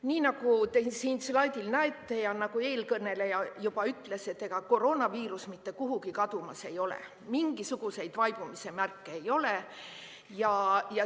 Nii nagu te siit slaidilt näete ja nagu eelkõneleja juba ütles, ega koroonaviirus mitte kuhugi kadumas ei ole, mingisuguseid vaibumise märke ei ole.